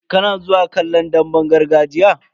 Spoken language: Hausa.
Kana zuwa kallon damben gargajiya?